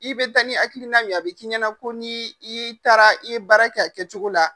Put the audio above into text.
I bɛ taa ni hakilina min ye a b'i k'i ɲɛna ko n'i y'i taara i ye baara kɛ a kɛcogo la.